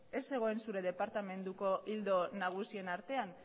ez zegoen zure departamenduko ildo nagusien artean